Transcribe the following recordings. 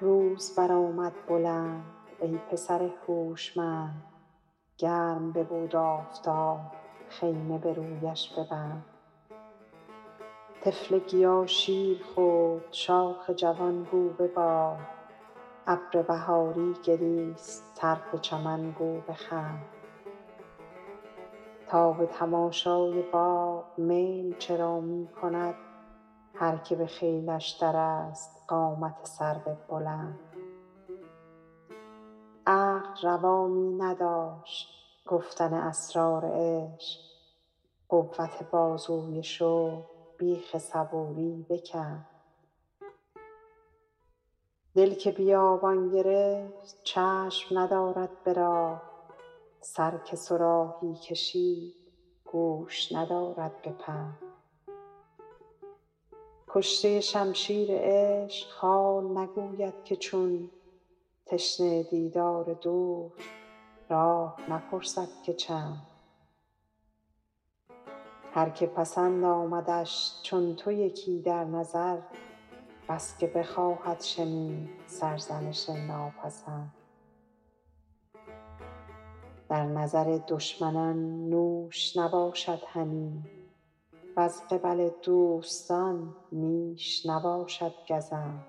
روز برآمد بلند ای پسر هوشمند گرم ببود آفتاب خیمه به رویش ببند طفل گیا شیر خورد شاخ جوان گو ببال ابر بهاری گریست طرف چمن گو بخند تا به تماشای باغ میل چرا می کند هر که به خیلش درست قامت سرو بلند عقل روا می نداشت گفتن اسرار عشق قوت بازوی شوق بیخ صبوری بکند دل که بیابان گرفت چشم ندارد به راه سر که صراحی کشید گوش ندارد به پند کشته شمشیر عشق حال نگوید که چون تشنه دیدار دوست راه نپرسد که چند هر که پسند آمدش چون تو یکی در نظر بس که بخواهد شنید سرزنش ناپسند در نظر دشمنان نوش نباشد هنی وز قبل دوستان نیش نباشد گزند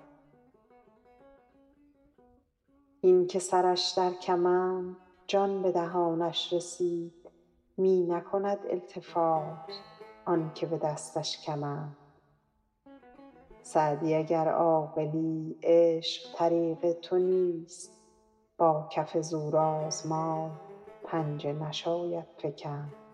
این که سرش در کمند جان به دهانش رسید می نکند التفات آن که به دستش کمند سعدی اگر عاقلی عشق طریق تو نیست با کف زورآزمای پنجه نشاید فکند